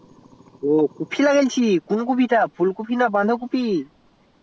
ও coffee লাগিয়েছিস কোন coffee full coffee না বাধা কফি